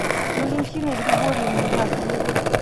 валентиной григорьевной яковлевой